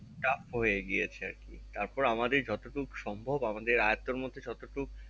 চাপ হয়ে গিয়েছে আর কি তারপরে আমাদের যত টুকু সম্ভব আমাদের আয়ত্তের মধ্যে যতটুকু